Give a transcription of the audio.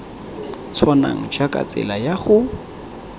tshwanang jaaka tsela ya go